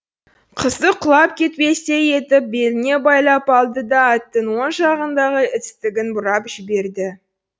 қызды құлап кетпестей етіп беліне байлап алды да аттың оң жағындағы істігін бұрап жіберді